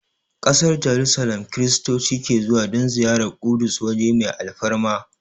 Ƙasar Jarusalim Kiristoci ke zuwa don ziyarar Ƙudus waje mai alfarma